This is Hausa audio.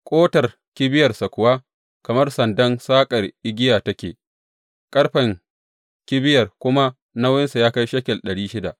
Ƙotar kibiyarsa kuwa kamar sandar saƙar igiya take, ƙarfen kibiyar kuma nauyinsa ya kai shekel ɗari shida.